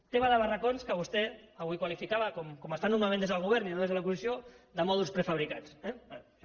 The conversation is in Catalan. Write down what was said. tema de barracons que vostè avui qualificava com es fa normalment des del govern i no des de l’oposició de mòduls prefabricats eh bé